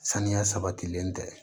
Saniya sabatilen tɛ